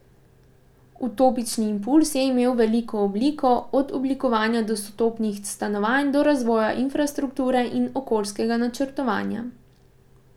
Utopični impulz je imel veliko oblik, od oblikovanja dostopnih stanovanj do razvoja infrastrukture in okoljskega načrtovanja.